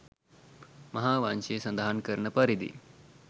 මහාවංශය සඳහන් කරන පරිදි